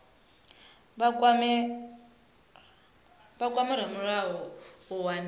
vha kwame ramulayo u wana